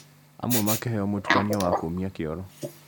Amwe makĩheo mũtukanio wa kũũmia kĩoro